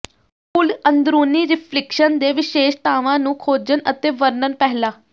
ਕੁੱਲ ਅੰਦਰੂਨੀ ਰਿਫਲਿਕਸ਼ਨ ਦੇ ਵਿਸ਼ੇਸ਼ਤਾਵਾਂ ਨੂੰ ਖੋਜਣ ਅਤੇ ਵਰਣਨ ਪਹਿਲਾਂ